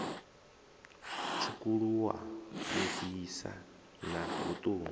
tswukuluwa u fhisa na vhuṱungu